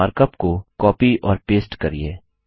markup को copy और paste करिये